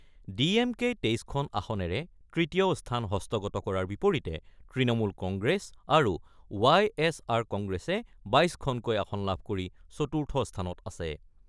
D এম কেই ২৩খন আসনেৰে তৃতীয় স্থান হস্তগত কৰাৰ বিপৰীতে তৃণমূল কংগ্ৰেছ আৰু ৱাই এছ আৰ কংগ্ৰেছে ২২খনকৈ আসন লাভ কৰি চতুৰ্থ স্থানত আছে।